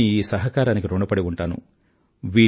అందువల్ల మీ ఈ సహకారానికి ఋణపడి ఉంటాను